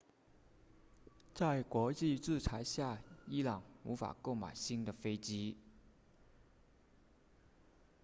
在国际制裁下伊朗无法购买新的飞机